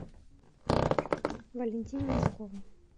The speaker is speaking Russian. валентине носковой